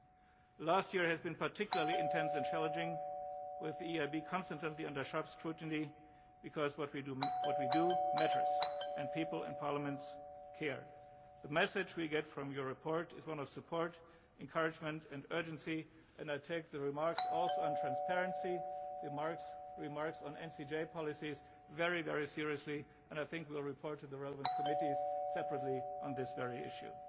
needs. The last year has been particularly intense and challenging, with the EIB under sharp scrutiny because what we do matters, and people and parliaments care. The message we get from your report is one of support, encouragement and urgency, and I take the remarks also on transparency, the remarks on NCJ policies, very seriously and I think we will report to the relevant committees separately on this very